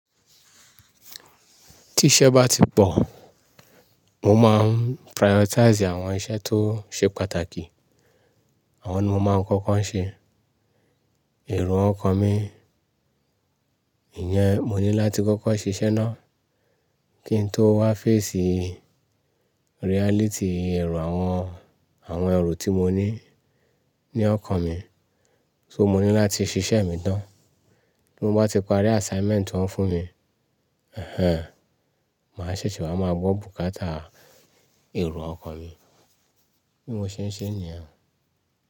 Tí iṣẹ́ bá ti pọ̀, mo máa ń prioritize àwọn iṣẹ́ tó ṣe pàtàkì. Àwọn ni mo máa ń kọ́kọ́ ṣe. Ẹ̀ro ọkan mi, ìyẹn mo ní láti kọ́kọ́ ṣiṣẹ́ ná kí n tó wá face reality ẹ̀rù àwọn, àwọn ẹ̀rù tí mo ní ní ọkọ mi. So mo ní láti ṣiṣẹ́ mi tán. Bí mo bá ti parí assignment ti woń fún mi, ẹhẹ́n, màá ṣèṣe wáa máa gbọ́ bùkátà ẹ̀rù ọkọ mi. Bí mo ṣe ń ṣe níyẹn.